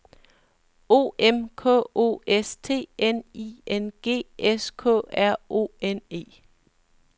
O M K O S T N I N G S K R O N E